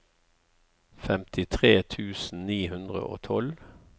femtitre tusen ni hundre og tolv